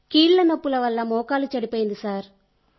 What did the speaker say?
కీళ్లనొప్పుల వల్ల మోకాలు చెడిపోయింది సార్